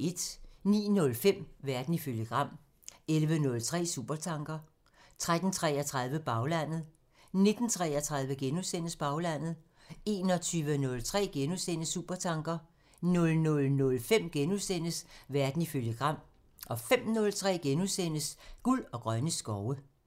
09:05: Verden ifølge Gram 11:03: Supertanker 13:33: Baglandet 19:33: Baglandet * 21:03: Supertanker * 00:05: Verden ifølge Gram * 05:03: Guld og grønne skove *